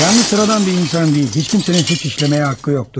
Yalnız sıradan bir insan deyil, heç kəsin cinayət etməyə haqqı yoxdur.